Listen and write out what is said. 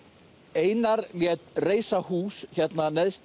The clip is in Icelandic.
einar lét reisa hús hérna neðst